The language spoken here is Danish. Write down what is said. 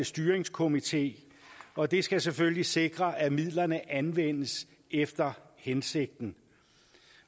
styringskomité og det skal selvfølgelig sikre at midlerne anvendes efter hensigten